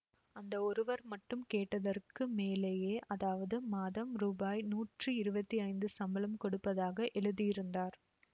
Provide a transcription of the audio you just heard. அந்த ஒருவர் மட்டும் கேட்டதற்கு மேலேயே அதாவது மாதம் ரூபாய் நூற்றி இருவத்தி ஐந்து சம்பளம் கொடுப்பதாக எழுதியிருந்தார்